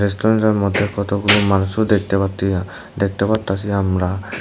রেস্টুরেন্টের মধ্যে কতগুলো মানুষও দেখতে পারতিনা দেখতে পারতাসি আমরা।